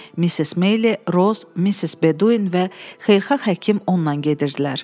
Missis Meili, Roz, Missis Bedouin və xeyirxah həkim ondan gedirdilər.